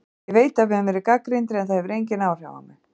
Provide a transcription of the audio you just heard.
Ég veit að við höfum verið gagnrýndir en það hefur engin áhrif á mig.